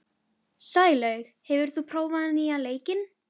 Jón Agnar glottir, hann er með gæjann í vasanum núna.